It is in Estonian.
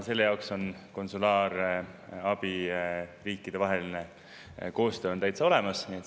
Selle jaoks on konsulaarabi riikidevaheline koostöö täitsa olemas.